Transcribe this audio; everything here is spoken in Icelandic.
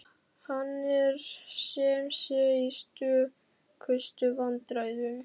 Hann er sem sé í stökustu vandræðum!